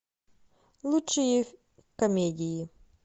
лучшие комедии